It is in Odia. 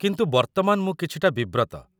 କିନ୍ତୁ ବର୍ତ୍ତମାନ ମୁଁ କିଛିଟା ବିବ୍ରତ।